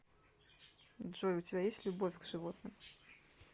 джой у тебя есть любовь к животным